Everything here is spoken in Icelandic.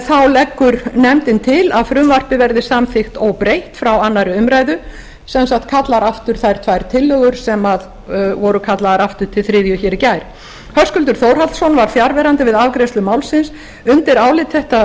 þá leggur nefndin til að frumvarpið verði samþykkt óbreytt frá annarri umræðu sem sagt kallar aftur þær tvær tillögur sem voru kallaðar aftur til þriðju umræðu í gær höskuldur þórhallsson var fjarverandi við afgreiðslu málsins undir álit þetta